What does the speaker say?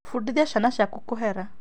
Bundithia ciana ciaku kũhera